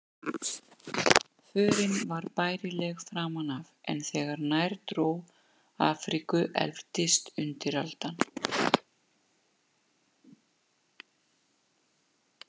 Förin var bærileg framan af, en þegar nær dró Afríku efldist undiraldan.